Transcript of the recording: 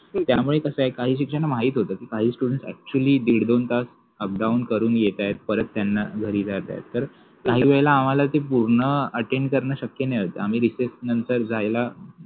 त्यामुळे कस आहे काहि शिक्षकाना माहिति होत कि काहि स्टुड्ण्ट अ‍ॅक्च्युअलि दिड दोन तास अपडाऊन करुन येतात परत त्याना घरि जायच आहे. काहि वेळेला आम्हाला ते पुर्ण अटेन करन शक्य नसायच त्यामुळे आम्हि रेसेस नंतर जायला